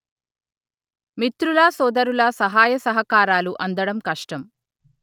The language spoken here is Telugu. మిత్రుల సోదరుల సహాయ సహకారాలు అందడం కష్టం